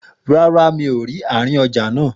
Rárá, mi ò rí àárín ọjà náà